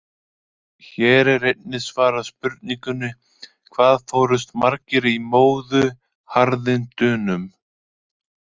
Hér er einnig svarað spurningunni: Hvað fórust margir í móðuharðindunum?